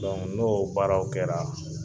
n'o baaraw kɛra